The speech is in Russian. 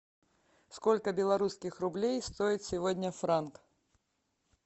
сколько белорусских рублей стоит сегодня франк